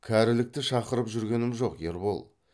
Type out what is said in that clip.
кәрілікті шақырып жүргенім жок ербол